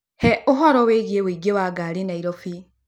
He ũhoro wĩgiĩ ũingĩ wa ngari Nairobi